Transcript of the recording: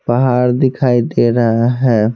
पहाड़ दिखाई दे रहा है।